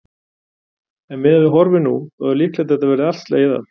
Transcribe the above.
En miðað við horfur nú, þá er líklegt að þetta verði allt slegið af?